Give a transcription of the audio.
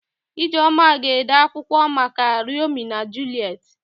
Ijeọma ga-ede akwụkwọ maka Romio na Juliet.